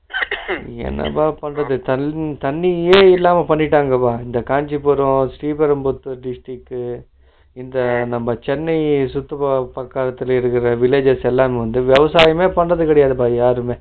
என்னப்பா பண்றது தண்ணி தண்ணியே இல்லாம பண்ணிட்டங்கலேப்ப இந்த காஞ்சிபுரம், ஸ்ரீபெரம்பரத்தூர் district உ இங்க நம்ம சென்னை சுத்தி பக்கத்துல இருக்குற villages எல்லாமே உண்டு விவசாயம் பண்றதே இல்லப்பா யாருமே